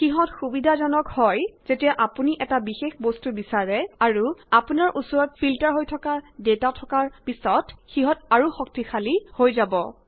সিহঁত আৰু সুবিধাজনক হয় যেতিয়া আপুনি এটা বিশেষ বস্তু বিছাৰে আৰু আপোনাৰ ওচৰত ফিল্টাৰ হৈ থকা ডাটা থকাৰ পিছত সিহঁত আৰু শক্তিশালী হৈ যাব